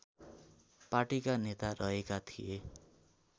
पार्टीका नेता रहेका थिए